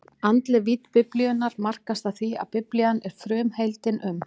Andleg vídd Biblíunnar markast af því, að Biblían er frumheimildin um